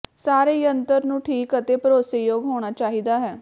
ਸਾਰੇ ਯੰਤਰ ਨੂੰ ਠੀਕ ਅਤੇ ਭਰੋਸੇਯੋਗ ਹੋਣਾ ਚਾਹੀਦਾ ਹੈ